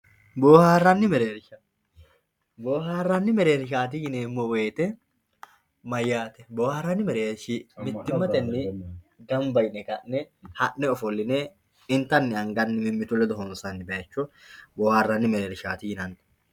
Boharani mereersha boharnia merersha yineemo woyite mayaate boharani mereershi mitimateni ganba yine hane honse intani anhani honsaniwa boharani merershati